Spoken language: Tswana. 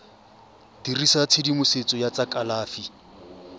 dirisa tshedimosetso ya tsa kalafi